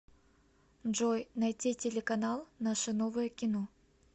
джой найти телеканал наше новое кино